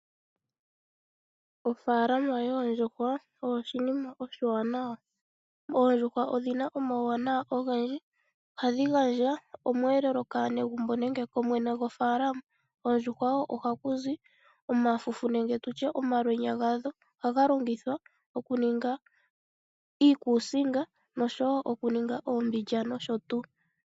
Ofaalama yoondjuhwa oyo oshinima oshiwanawa. oondjuhwa odhina omawuwanawa ogendji ohadhi gandja omweelelo kaanegumbo nenge kumwene gwomafaalama . Koondjuhwa woo ohakuzi omafufu nenge omalwenya gadho ohaga longithwa okuninga iikuusinga noshowo okuninga uumbidja nosho tuu.